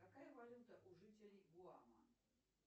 какая валюта у жителей гуама